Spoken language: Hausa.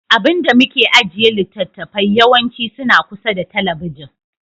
Abun da muke ajiye littattafai yawanci suna kusa da talabijin.